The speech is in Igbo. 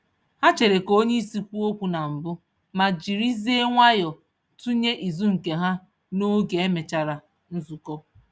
Ha chere ka onyeisi kwuo okwu na mbụ, ma jirizie nwayọ tunye izu nke ha n'oge emechara nzukọ